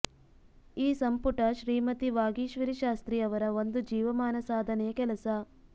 ಈ ಸಂಪುಟ ಶ್ರೀಮತಿ ವಾಗೀಶ್ವರಿ ಶಾಸ್ತ್ರಿ ಅವರ ಒಂದು ಜೀವಮಾನ ಸಾಧನೆಯ ಕೆಲಸ